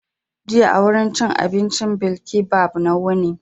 Jiya a wurin cin abincin bilkibab na wuni.